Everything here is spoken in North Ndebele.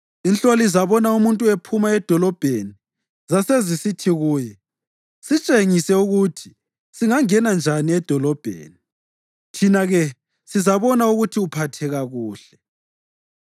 inhloli zabona umuntu ephuma edolobheni zasezisithi kuye, “Sitshengise ukuthi singangena njani edolobheni, thina-ke sizabona ukuthi uphatheka kuhle.”